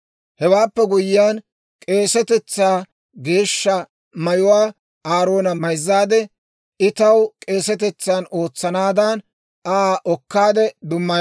Hewaappe guyyiyaan k'eesetetsaa Geeshsha mayuwaa Aaroona mayzzaade, I taw k'eesetetsan ootsanaadan, Aa okaade dummaya.